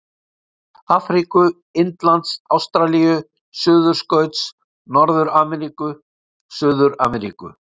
Afríku-, Indlands-Ástralíu-, Suðurskauts-, Norður-Ameríku-, Suður-Ameríku-